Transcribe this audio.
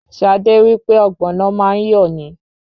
Ṣadé wí pé Ọ̀gbọ̀nọ̀ má ń yọ̀ ni.